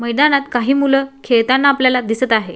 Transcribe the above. मैदानात काही मुल खेळताना आपल्याला दिसत आहे.